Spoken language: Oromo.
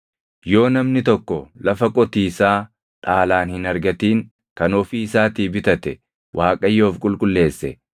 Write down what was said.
“ ‘Yoo namni tokko lafa qotiisaa dhaalaan hin argatin kan ofii isaatii bitate Waaqayyoof qulqulleesse,